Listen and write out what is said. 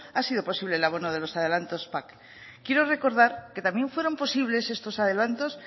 ha sido posible el abono de los adelantos pac quiero recordar que también fueron posibles estos adelantos